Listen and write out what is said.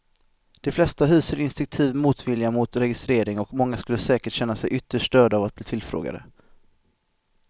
De flesta hyser instinktiv motvilja mot registrering och många skulle säkert känna sig ytterst störda av att bli tillfrågade.